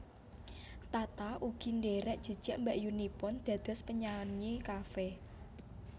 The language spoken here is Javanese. Tata ugi ndherek jejak mbakyunipun dados penyanyi cafe